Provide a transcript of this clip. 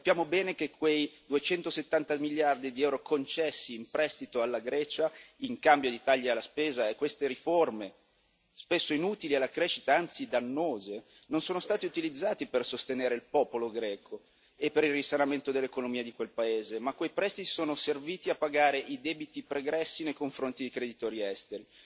Sappiamo bene che quei 270 miliardi di EUR concessi in prestito alla Grecia in cambio di tagli alla spesa e a queste riforme, spesso inutili alla crescita anzi dannose, non sono stati utilizzati per sostenere il popolo greco e per il risanamento dell'economia di quel paese bensì sono serviti a pagare i debiti pregressi nei confronti dei creditori esteri.